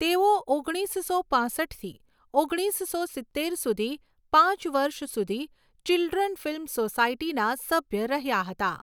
તેઓ ઓગણીસસો પાંસઠથી ઓગણીસો સિત્તેર સુધી પાંચ વર્ષ સુધી ચિલ્ડ્રન ફિલ્મ સોસાયટીના સભ્ય રહ્યા હતા.